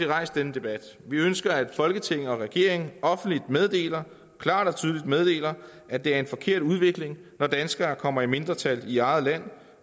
rejst denne debat vi ønsker at folketinget og regeringen offentligt meddeler klart og tydeligt meddeler at det er en forkert udvikling når danskere kommer i mindretal i eget land